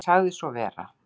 Hann sagði svo vera.